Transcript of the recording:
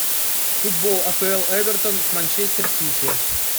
футбол апл эвертон с манчестер сити